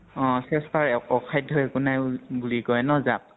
অ চেষ্টাৰ অ অসাধ্য় একো নাই বুলি কয় ন যাক।